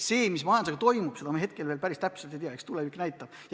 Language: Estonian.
Seda, mis majandusega toimub, me hetkel päris täpselt ei tea, eks tulevik näitab.